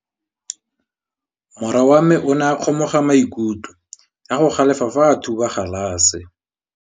Morwa wa me o ne a kgomoga maikutlo ka go galefa fa a thuba galase.